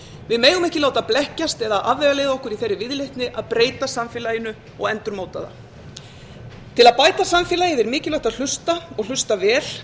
við megum ekki láta blekkjast eða afvegaleiða okkur í þeirri viðleitni að breyta samfélaginu og endurmóta það til að bæta samfélagið er mikilvægt að hlusta og hluta vel